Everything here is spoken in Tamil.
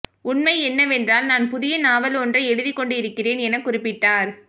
உண்மை என்னவென்றால் நான் புதிய நாவல் ஒன்றை எழுதிக் கொண்டிருக்கிறேன் எனக்குறிப்பிட்டார்